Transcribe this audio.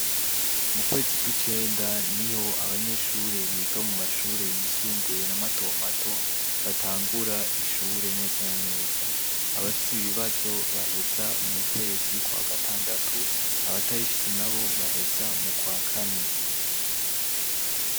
Mu kwezi kw'icenda niho abanyeshure biga mu mashure yisumbuye na matomato batangura ishure neza na neza, abafise ibibazo baheza mu kwezi kwa gatandatu abatabifise nabo baheza mu kwa kane.